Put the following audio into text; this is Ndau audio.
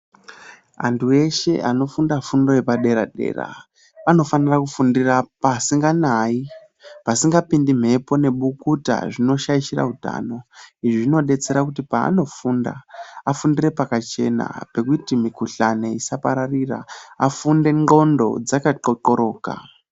Antu eshe anofunda fundo yepadera dera anofane kufundira pasinganayi ,pasingapindi mhepo nebukuta zvinoshaishira utano. Izvi zvinodetsera kuti paanofunda afundire pakachena pekuti mikhuhlani isapararira ,afunde ndxondo dzakaqhloqhloroka.